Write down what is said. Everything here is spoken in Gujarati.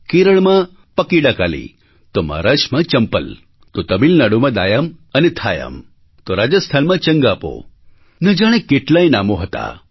કેરળમાં પકીડાકાલી તો મહારાષ્ટ્રમાં ચંપલ તો તમિલનાડુમાં દાયામ અને થાયામ તો રાજસ્થાનમાં ચંગાપોન જાણે કેટલાંય નામો હતાં